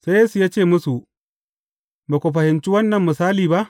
Sai Yesu ya ce musu, Ba ku fahimci wannan misali ba?